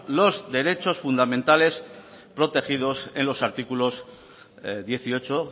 los derechos fundamentales protegidos en las artículos dieciocho